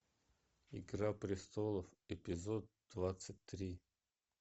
игра престолов эпизод двадцать три